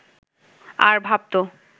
আর ভাবত